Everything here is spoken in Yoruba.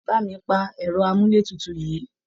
Bà mi pa ẹ̀rọ amúlétutu yìí!